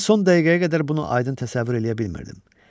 Mən son dəqiqəyə qədər bunu aydın təsəvvür eləyə bilmirdim.